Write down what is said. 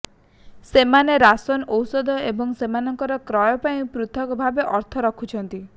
ସେମାନେ ରାସନ ଔଷଧ ଏବଂ ସେମାନଙ୍କ କ୍ରୟ ପାଇଁ ପୃଥକ ଭାବେ ଅର୍ଥ ରଖୁଛନ୍ତି